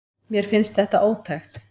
Mér finnst þetta ótækt.